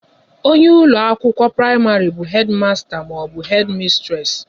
Onye isi ụlọ akwụkwọ praịmarị bu Hedi masta maọbụ Hedi mistres